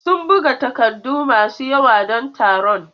Sun buga takardu masu yawa don taron.